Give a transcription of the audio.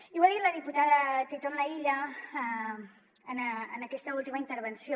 i ho ha dit la diputada titon laïlla en aquesta última intervenció